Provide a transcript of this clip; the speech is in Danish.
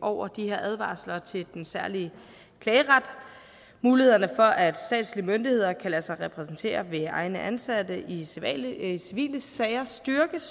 over de her advarsler til den særlige klageret mulighederne for at statslige myndigheder kan lade sig repræsentere ved egne ansatte i civile i civile sager styrkes